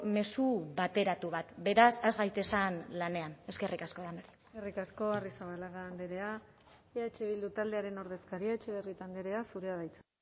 mezu bateratu bat beraz has gaitezen lanean eskerrik asko eskerrik asko arrizabalaga andrea eh bildu taldearen ordezkaria etxebarrieta andrea zurea da hitza